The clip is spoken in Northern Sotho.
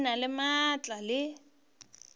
o na le maatla le